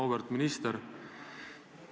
Auväärt minister!